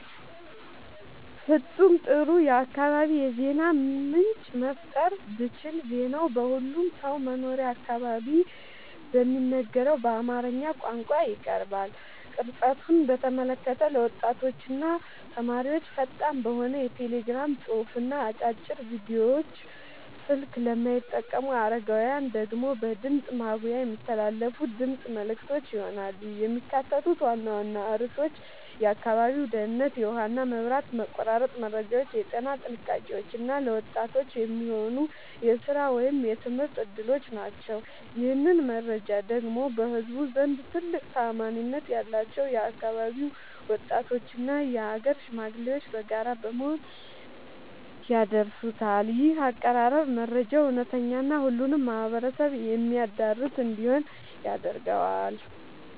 ፍጹም ጥሩ የአካባቢ የዜና ምንጭ መፍጠር ብችል ዜናው በሁሉም ሰው መኖሪያ አካባቢ በሚነገረው በአማርኛ ቋንቋ ይቀርባል። ቅርጸቱን በተመለከተ ለወጣቶችና ተማሪዎች ፈጣን በሆነ የቴሌግራም ጽሑፍና አጫጭር ቪዲዮዎች፣ ስልክ ለማይጠቀሙ አረጋውያን ደግሞ በድምፅ ማጉያ የሚተላለፉ የድምፅ መልዕክቶች ይሆናሉ። የሚካተቱት ዋና ዋና ርዕሶች የአካባቢው ደህንነት፣ የውሃና መብራት መቆራረጥ መረጃዎች፣ የጤና ጥንቃቄዎች እና ለወጣቶች የሚሆኑ የሥራ ወይም የትምህርት ዕድሎች ናቸው። ይህንን መረጃ ደግሞ በህዝቡ ዘንድ ትልቅ ተአማኒነት ያላቸው የአካባቢው ወጣቶችና የአገር ሽማግሌዎች በጋራ በመሆን ያደርሱታል። ይህ አቀራረብ መረጃው እውነተኛና ሁሉንም ማህበረሰብ የሚያዳርስ እንዲሆን ያደርገዋል።